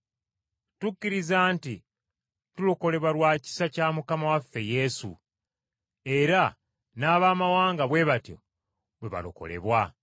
Tukkiriza nti tulokolebwa lwa kisa kya Mukama waffe Yesu, era n’abamawanga bwe batyo bwe balokolebwa.”